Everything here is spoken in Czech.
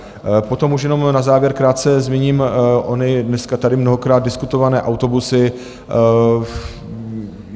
Potom už jenom na závěr krátce zmíním ony dneska tady mnohokrát diskutované autobusy.